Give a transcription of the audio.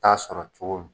Taa sɔrɔ cogo min